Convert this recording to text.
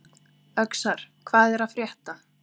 Öxar, hvað er að frétta?